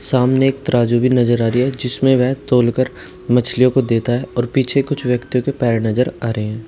सामने एक तराजू भी नजर आ रही है जिसमें वह तौलकर मछलियों को देता है और पीछे कुछ व्यक्तियों के पैर नजर आ रहे हैं।